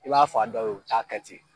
i b'a f'a dɔw ye u t'a kɛ ten.